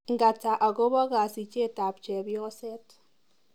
Ng'ata akobo kasichetap chepyoset.